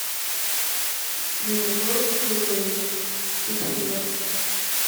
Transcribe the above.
мираторг пятьсот грамм